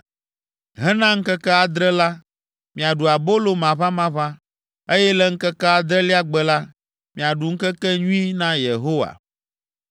Hena ŋkeke adre la, miaɖu abolo maʋamaʋã, eye le ŋkeke adrelia gbe la, miaɖu ŋkekenyui na Yehowa.